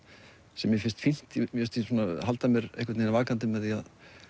sem mér finnst fínt mér finnst ég halda mér vakandi með því